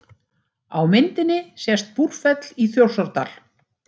Á myndinni sést Búrfell í Þjórsárdal.